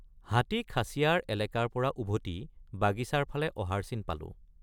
হাতী খাছীয়াৰ এলেকাৰপৰা উভতি বাগিচাৰ ফালে অহাৰ চিন পালোঁ।